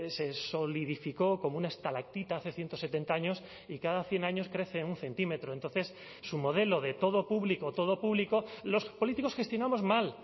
se solidificó como una estalactita hace ciento setenta años y cada cien años crece un centímetro entonces su modelo de todo público todo público los políticos gestionamos mal